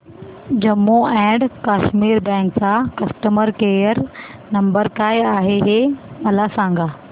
Jammu and Kashmir bank चा customer care number काय आहे हे मला सांगा